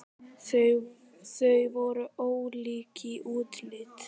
Þau voru ólík í útliti.